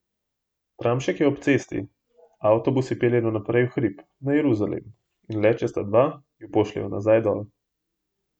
Tramšek je ob cesti, a avtobusi peljejo naprej v hrib, na Jeruzalem, in le če sta dva, ju pošljejo nazaj dol ...